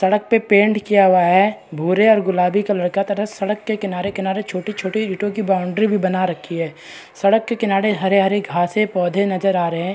सड़क पे पेंट किया गया है | भूरे और गुलाबी कलर का तथा सड़क के किनारे-किनारे छोटे-छोटे इट्टो की बाउंड्री भी बना रखी है सड़क के किनारे हरे-हरे घासे पौधे नजर आ रहे हैं ।